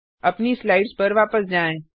अपनी स्लाइड्स पर वापस जाएँ